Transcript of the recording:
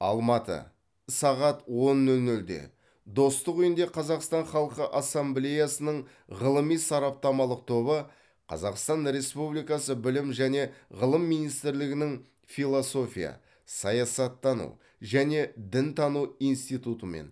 алматы сағат он нөл нөлде достық үйінде қазақстан халқы ассамблеясының ғылыми сараптамалық тобы қазақстан республикасы білім және ғылым министрлігінің философия саясаттану және дінтану институтымен